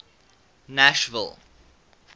nashville